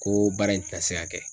Ko baara in tɛ na se ka kɛ.